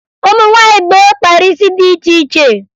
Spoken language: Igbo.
Ụmụ nwaanyị gboo kpara isi dị iche iche